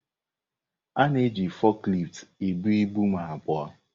Ọ na-eji foklift ebu ibu m abụọ.